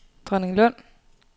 Dronninglund